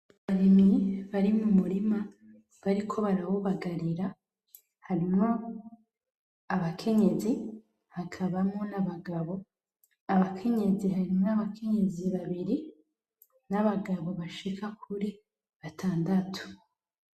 Abarimyi bari mumurima bariko barawubagarira harimwo abakenyezi hakabamwo nabagabo , abakenyezi harimwo abakenyezi babiri , nabagabo bashika kuri batandatu .